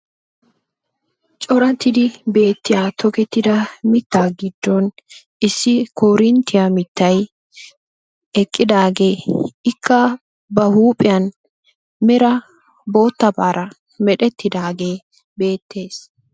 Corattidi beettiyaa tokettida mittaa giddon issi korinttiya mittay eqqidaagee Ikka ba huuphphiyan mera boottabaara meretidaagee beettees.